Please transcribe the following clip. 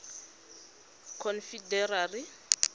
confederacy